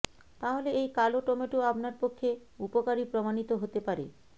তাহলে এই কালো টমেটো আপনার পক্ষে উপকারী প্রমাণিত হতে পারে